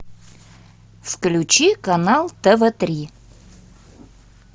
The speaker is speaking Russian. включи канал тв три